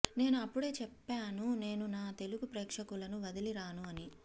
నేను అప్పుడే చెప్పాను నేను నా తెలుగు ప్రేక్షకులను వదిలి రాను అని